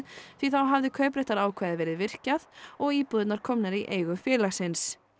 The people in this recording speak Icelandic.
því þá hafi kaupréttarákvæði verið virkjað og íbúðirnar komnar í eigu félagsins